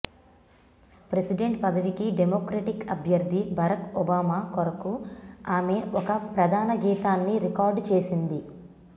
president పదవికి democratic అభ్యర్ధి Barack Obama కొరకు ఆమె ఒక ప్రధాన గీతాన్ని రికార్డు చేసింది